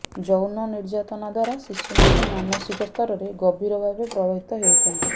ଯୌନ ନିର୍ୟାତନା ଦ୍ୱାରା ଶିଶୁମାନେ ମାନସିକ ସ୍ତରରେ ଗଭୀର ଭାବେ ପ୍ରଭାବିତ ହେଉଛନ୍ତି